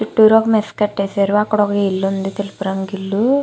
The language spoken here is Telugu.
చుట్టూరా మెస్ కట్టేశారు అక్కడ ఒక ఇల్లు ఉంది తెలుపు రంగు ఇల్లు.